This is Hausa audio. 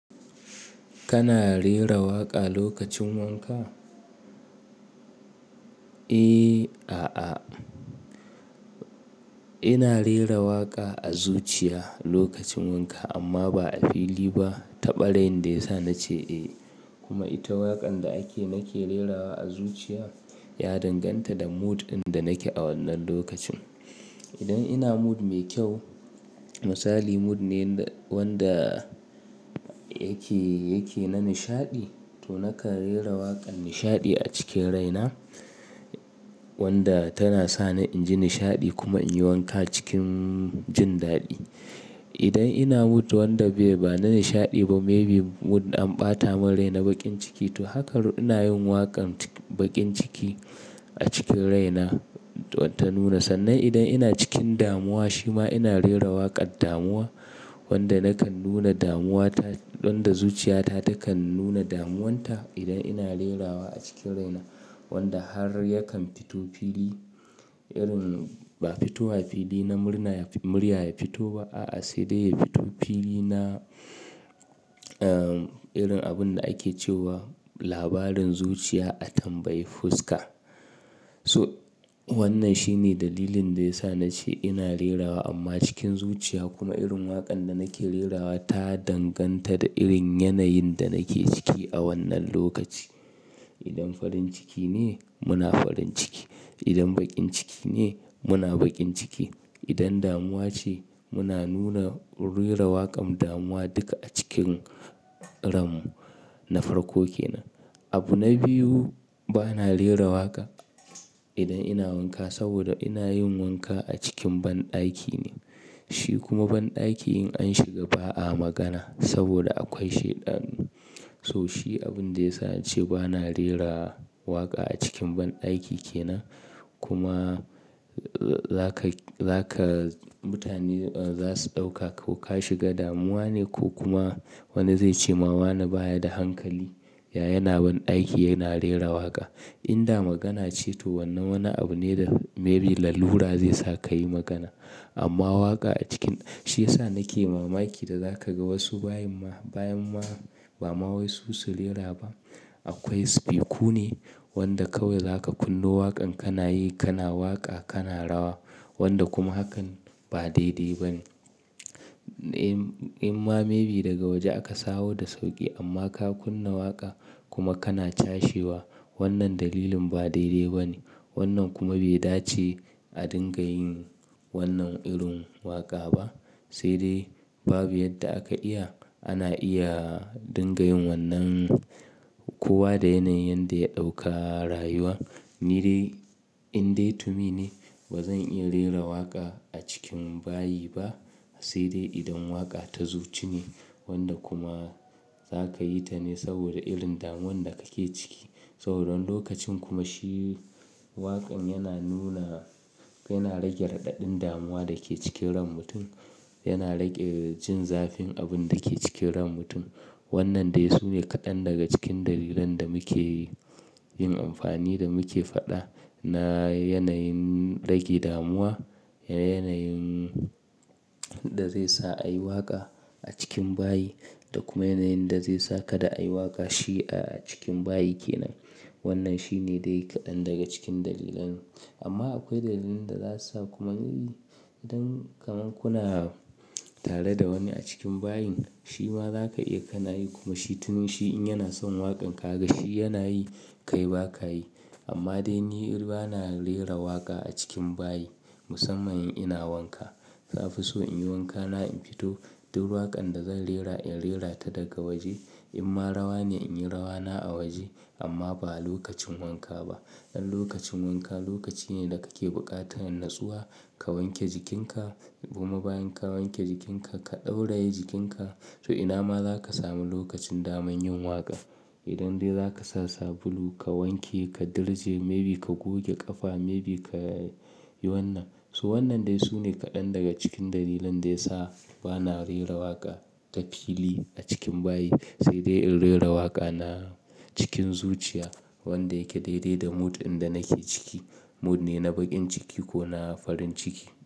Kana rera waƙa lokacin wanka? Eh, a'a. Ina rera waƙa a zuciya lokacin wanka amma ba a fili ba. Taɓalin da ya sa na ce eh kuma ita waƙan da ake nake rerawa a zuciya ya danganta da mood ɗin da nake a wannan lokacin. Idan ina mood mai kyau, misali mood ne wanda yake, yake na nishaɗi to nakan rera waƙan nishaɗi a cikin raina wadda tana sa ni inji nishaɗi kuma in yi wanka cikin jin daɗi. Idan ina mood wanda bai ba na nishaɗi ba maybe mood an ɓata mun rai na baƙin ciki, to haka ina yin waƙan baƙin ciki a cikin raina ta nuna. Sannan idan ina cikin damuwa shima ina rera waƙar damuwa wadda nakan nuna damuwa ta, don da zuciyata takan nuna damuwarta idan ina rerawa a cikin raina wadda har yakan fito fili irin ba fitowa fili na murna, murya ya fito ba a'a, sai dai ya fito fili na, ah, irin abun da ake cewa labarin zuciya a tambayi fuska. So wannan shine dalilin da ya sa na ce ina rerawa amma cikin zuciya. Kuma irin waƙan da nake rerawa ta danganta da irin yanayin da nake ciki a wannan lokaci. Idan farin ciki ne muna farin ciki, idan baƙin ciki ne muna baƙin ciki, idan damuwa ce muna nuna rera waƙan damuwa duka a cikin ram na farko kenan. Abu na biyu, ba na rera waƙa idan ina wanka saboda ina yin wanka a cikin banɗaki ne. Shi kuma banɗaki in an shiga ba a magana saboda akwai shaiɗanu. So shi abun da ya sa na ce ba na rera waƙa a cikin banɗaki kenan. Kuma za ka, za ka mutane za su ɗauka ko ka shiga damuwa ne ko kuma wani zai ce mama na baya da hankali. Ya yana banɗaki yana rera waƙa. In da magana ce to wannan wani abu ne da maybe lalura zai sa ka yi magana. Amma waƙa a cikin shi ya sa nake mamaki da za ka ga wasu bayin ma, bayan ma ba ma wai su su rera ba. Akwai speaku ne wanda kawai za ka kunna waƙan kana yi, kana waƙa, kana rawa wanda kuma hakan ba daidai ba ne. Eh, amma maybe daga waje aka saro da sauƙi amma ka kunna waƙa kuma kana tashewa wannan dalilin ba daidai ba ne. Wannan kuma bai dace a dinga yin wannan irin waƙa ba. Sai dai babu yadda aka iya, ana iya dinga yin wannan kowa da yanayin da ya ɗauka rayuwa. Ni dai in dai to me ne ba zan iya rera waƙa a cikin bayi ba. Sai dai idan waƙa ta zuci ne wadda kuma za ka yi ta ne saboda irin damuwan da kake ciki. Saboda lokacin kuma shi waƙan yana nuna, yana rage raɗaɗin damuwa da ke cikin ran mutum, yana rage jin zafin abun da ke cikin ran mutum. Wannan dai su ne kaɗan daga cikin dalilan da muke yin amfani da muke faɗa na yanayin rage damuwa, yanayin da zai sa a yi waƙa a cikin bayi da kuma yanayin da zai sa kada a yi waƙa shi a cikin bayi kenan. Wannan shine dai kaɗan daga cikin dalilan. Amma akwai dalilin da za su sa kuma idan kamam kuna tare da wani a cikin bayin shima za ka iya kana yi kuma shi tunin shi in yana son waƙan ka ga shi yana yi, kai ba ka yi. Amma dai ni irin ba na rera waƙa a cikin bayi musamman in ina wanka. Na fi so in yi wankana in fito duk waƙan da zan rera in rera ta daga waje. In ma rawa ne in yi rawana a waje amma ba a lokacin wanka ba. Dan lokacin wanka lokaci ne da kake buƙata in natsuwa, ka wanke jikinka kuma bayan ka wanke jikinka ka ɗauraye jikinka. So ina ma za ka sami lokacin daman yin waƙa. Idan dai za ka sa sabulu ka wanke, ka dirje maybe ka goge ƙafa maybe ka yi wannan. So wannan dai su ne kaɗan daga cikin dalilan da ya sa ba na rera waƙa ga fili a cikin bayi. Sai dai in rera waƙa na cikin zuciya wadda yake daidai da mood ɗin da nake ciki. Mood ne na baƙin ciki ko na farin ciki.